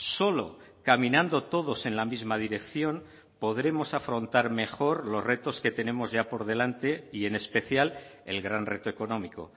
solo caminando todos en la misma dirección podremos afrontar mejor los retos que tenemos ya por delante y en especial el gran reto económico